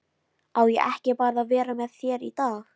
Á ég ekki bara að vera með þér í dag?